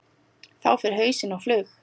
Þá fer hausinn á flug.